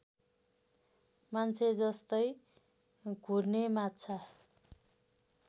मान्छेजस्तै घुर्ने माछा